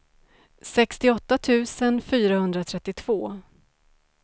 sextioåtta tusen fyrahundratrettiotvå